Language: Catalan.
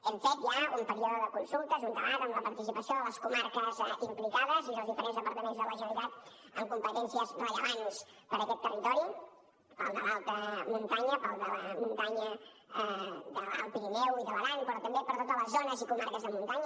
hem fet ja un període de consultes un debat amb la participació de les comarques implicades i els diferents departaments de la generalitat amb competències rellevants per a aquest territori per al de l’alta muntanya per al de la muntanya de l’alt pirineu i de l’aran però també per a totes les zones i comarques de muntanya